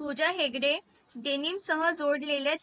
पूजा Hegde denim सह जोडलेले